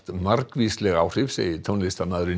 margvísleg áhrif segir tónlistarmaðurinn